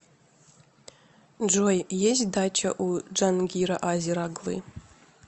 джой есть дача у джангира азер оглы